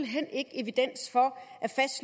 hen ikke evidens for